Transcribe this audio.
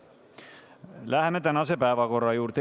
Läheme tänase päevakorra juurde.